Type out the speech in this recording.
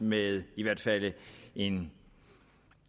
med i hvert fald en